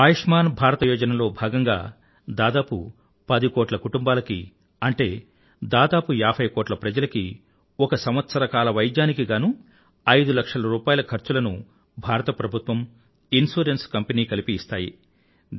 ఆయుష్మాన్ భారత యోజన లో భాగంగా దాదాపు పది కోట్ల కుటుంబాలకి అంటే దాదాపు ఏభై కోట్ల ప్రజలకి ఒక సంవత్సరకాల వైద్యానికి గానూ ఐదు లక్షల రూపాయిల ఖర్చులను భారత ప్రభుత్వం ఇన్సురెన్స్ కంపెనీ కలిపి ఇస్తాయి